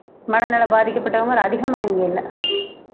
மனநிலை பாதிக்கப்பட்டவங்க ஒரு அதிகமா இங்க இல்ல